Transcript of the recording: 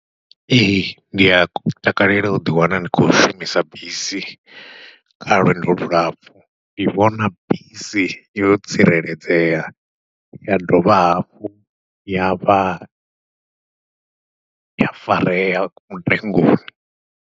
Ee ndia takalela uḓi wana ndi khou shumisa bisi kha lwendo lulapfhu, ndi vhona bisi yo tsireledzea ya dovha hafhu yavha ya farea mutengoni.